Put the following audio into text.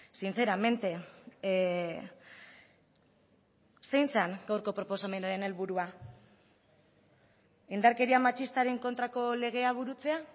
sinceramente zein zen gaurko proposamenaren helburua indarkeria matxistaren kontrako legea burutzea